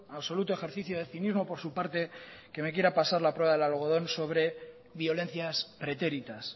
absoluto ejercicio de cinismo por su parte que me quiera pasar la prueba del algodón sobre violencias pretéritas